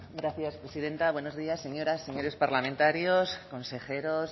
gracias presidenta buenos días señoras señores parlamentarios consejeros